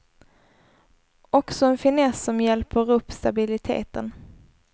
Också en finess som hjälper upp stabiliteten.